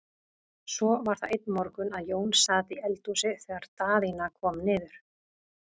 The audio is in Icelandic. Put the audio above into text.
Svo var það einn morgun að Jón sat í eldhúsi þegar Daðína kom niður.